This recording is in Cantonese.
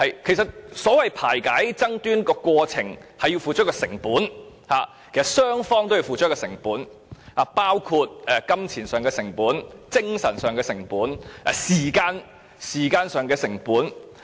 其實，排解爭端的過程是要付出成本的，雙方都要付出成本，包括金錢上的成本、精神上的成本、時間上的成本。